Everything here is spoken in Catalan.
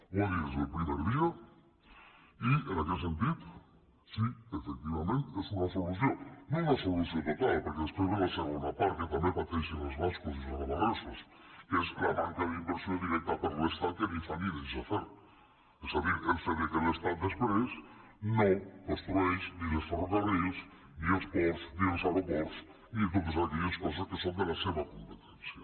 ho ha dit des del primer dia i en aquest sentit sí que efectivament és una solució no una solució total perquè després ve la segona part que també pateixen els bascos i els navarresos que és la manca d’inversió directa per l’estat que ni fa ni deixa fer és a dir el fet que l’estat després no construeix ni els ferrocarrils ni els ports ni els aeroports ni totes aquelles coses que són de la seva competència